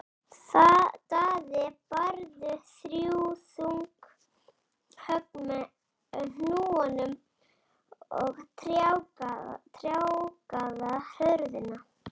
Daði barði þrjú þung högg með hnúanum á tjargaða hurðina.